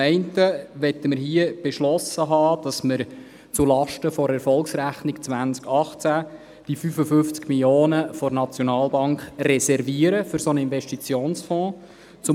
Zum einen möchten wir hier beschlossen haben, zulasten der Erfolgsrechnung 2018 die 55 Mio. Franken der Nationalbank für einen Investitionsfonds zu reservieren.